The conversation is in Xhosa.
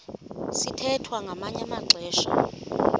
sithwethwa ngamanye amaxesha